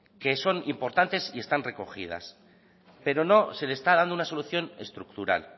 que son importantes y están recogidas pero no se le está dando una solución estructural